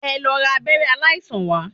Ẹ lọ ra abẹ́rẹ́ aláìsàn wá.